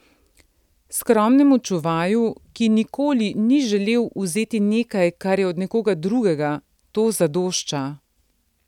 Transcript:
Skromnemu čuvaju, ki nikoli ni želel vzeti nekaj, kar je od nekoga drugega, to zadošča.